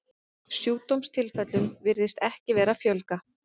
Sjúkdómstilfellum virðist ekki vera að fjölga.